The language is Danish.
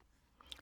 DR P2